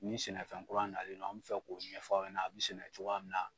Ni sɛnɛfɛn kura nalen do an bɛ fɛ k'u ɲɛfɔ aw ɲɛna a bɛ sɛnɛ cogoya min na.